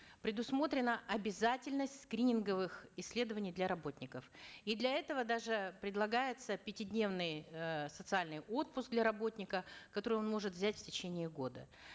предусмотрена обязательность скрининговых исследований для работников и для этого даже предлагается пятидневный э социальный отпуск для работника который он может взять в течение года